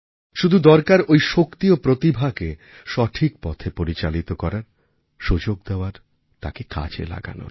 শুধু দরকার ঐ শক্তি ও প্রতিভাকে সঠিক পথে পরিচালিত করার সুযোগ দেওয়ার তাকে কাজে লাগানোর